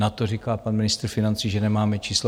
Na to říká pan ministr financí, že nemáme čísla.